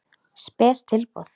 Spes tilboð.